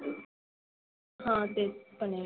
हा तेच पण आहे.